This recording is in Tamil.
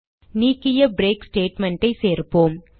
நீக்கிய பிரேக் statement ஐ சேர்ப்போம்